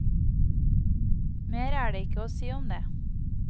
Mer er det ikke å si om det.